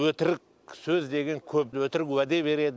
өтірік сөз деген көп өтірік уәде береді